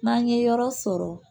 N'an ye yɔrɔ sɔrɔ